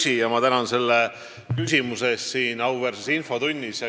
Hea küsija, tänan selle küsimuse eest siin auväärses infotunnis!